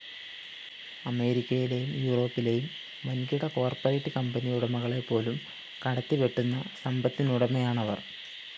അമേരിക്കയിലെയും യൂറോപ്പിലെയും വന്‍കിട കോർപ്പറേറ്റ്‌ കമ്പനിയുടമകളെപ്പോലും കടത്തിവെട്ടുന്ന സമ്പത്തിനുടമയാണവര്‍